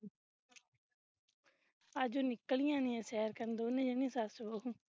ਅਜ ਉਹ ਨਿਕਲਿਆ ਨਹੀਂ ਸੈਰ ਕਰਨ ਦੋਨੇ ਜਾਣਿਆ ਸਸ ਬਹੂ